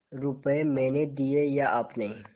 रुपये मैंने दिये या आपने